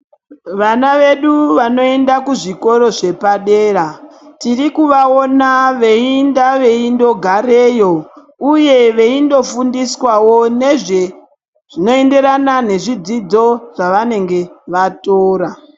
Vana vedu vanoenda kuzvikora zvepadera tiri kuvaona veienda veindogarayo uye veindofundiswawo nezve zvinoenderana nezvidzidzo zvavanenge vatora.